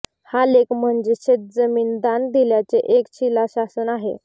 हा लेख म्हणजे शेतजमीन दान दिल्याचे एक शिलाशासन आहे